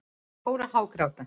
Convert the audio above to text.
Fór að hágráta.